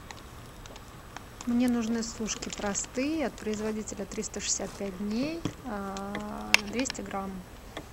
мне нужны сушки простые от производителя триста шестьдесят пять дней двести грамм